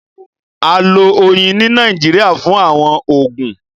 À lọ̀ oyin ni Nàìjíríà fún àwọn oogun.